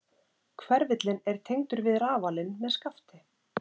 Hverfillinn er tengdur við rafalinn með skafti.